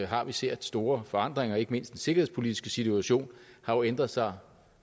har vi set store forandringer ikke mindst den sikkerhedspolitiske situation har jo ændret sig